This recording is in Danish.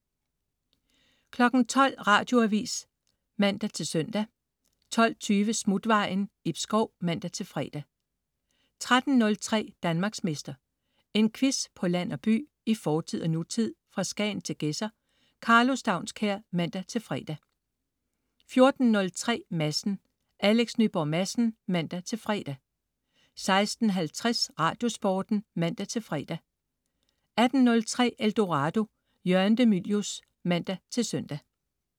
12.00 Radioavis (man-søn) 12.20 Smutvejen. Ib Schou (man-fre) 13.03 Danmarksmester. En quiz på land og by, i fortid og nutid, fra Skagen til Gedser. Karlo Staunskær (man-fre) 14.03 Madsen. Alex Nyborg Madsen (man-fre) 16.50 Radiosporten (man-fre) 18.03 Eldorado. Jørgen de Mylius (man-søn)